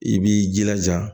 I b'i jilaja